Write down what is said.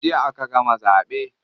Jiya aka gama zaɓe.